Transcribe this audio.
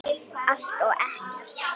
Allt og ekkert